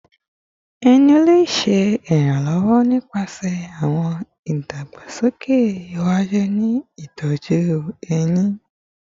Ẹnu le ṣe iranlọwọ nipasẹ awọn idagbasoke iwaju ni itọju ehín